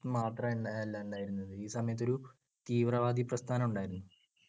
മാത്രം അഹ് അല്ല ഉണ്ടായിരുന്നത്. ഈ സമയത്തൊരു തീവ്രവാദി പ്രസ്ഥാനമുണ്ടായിരുന്നു.